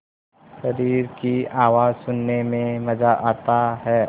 शरीर की आवाज़ सुनने में मज़ा आता है